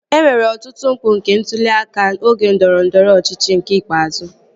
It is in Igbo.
E nwere ọtụtụ mpụ nke ntụli aka oge ndọrọndọrọ ọchịchị nke ikpeazụ